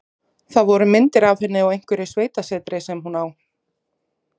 Það voru myndir af henni á einhverju sveitasetri sem hún á.